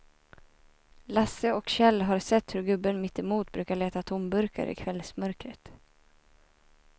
Lasse och Kjell har sett hur gubben mittemot brukar leta tomburkar i kvällsmörkret.